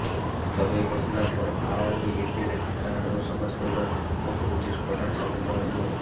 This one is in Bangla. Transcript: তবে এ ঘটনার পর আওয়ামী লীগের ত্রাণ ও সমাজ কল্যাণ উপকমিটির প্রধান সমন্বয়ক মো